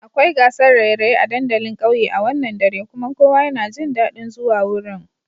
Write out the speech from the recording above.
Akwai gasar raye-raye a dandalin kauye a wannan dare kuma kowa yana jin dadin zuwa wurin.